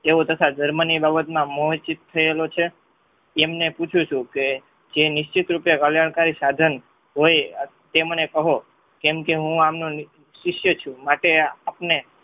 તેવો તથા ધર્મોની બાબતમાં મોહચીત થયેલો છે. તેમને પૂછું છું કે જે નિશ્ચિત રૂપે કલ્યાણકારી સાધન હોય તેમને કહો કેમ કે હું આમનો શિસ્ય છું માટે આપણે